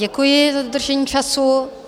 Děkuji za dodržení času.